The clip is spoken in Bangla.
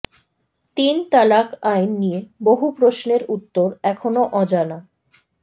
তিন তালাক আইন নিয়ে বহু প্রশ্নের উত্তর এখনও অজানা